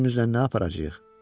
Özümüzlə nə aparacağıq?